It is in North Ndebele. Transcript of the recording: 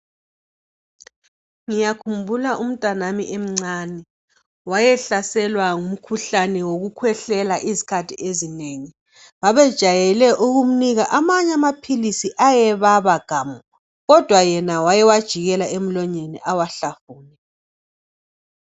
Ngiyakhumbula umntanami emncane, wayehlaselwa ngumkhuhlane wokukhwehlela izikhathi ezinengi. Babejayele ukumnika amanye amaphilisi ayebaba gamu kodwa yena wayewajikela emlonyeni awahlafune.